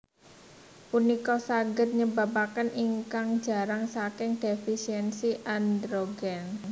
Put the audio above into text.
Punika saged nyebapaken ingkang jarang saking defesiensi androgen